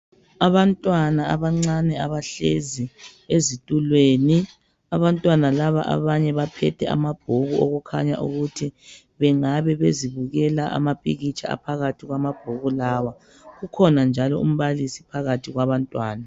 Abantwana abancane abahlezi ezitulweni abantwana laba abanye baphethe amabhuku okukhanya ukuthi bengabe bezibukela amapikitsha aphakathi kwama bhuku lawa, ukhona njalo umbalisi phakathi kwabantwana.